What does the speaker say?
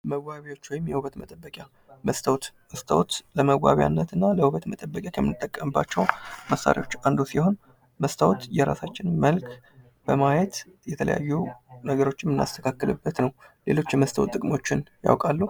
መዋቢያዎች ወይም የዉበት መጠበቂያ መስታወት ለመዋብያነት እና ለዉበት መጠበቂያነት ከምንጠቀምባቸው መሳሪያዎች ዉስጥ አንዱ ሲሆን፤ መስታዎት የራሳችንን መልክ በማየት የተለያዩ ነገሮችን የምናስተካክልበት ነው። ሌሎች የመስታዎት ጥቅሞችን ያውቃሉ?